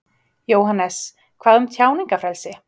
Jóhannes: Hvað um tjáningarfrelsi?